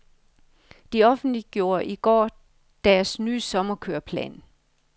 De offentliggjorde i går deres nye sommerkøreplan.